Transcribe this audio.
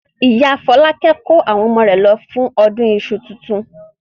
Ìyá Fọlákẹ́ kó àwọn ọmọ rẹ̀ lọ fún ọdún iṣu tuntun.